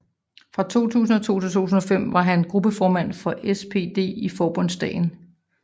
Fra 2002 til 2005 var han gruppeformand for SPD i Forbundsdagen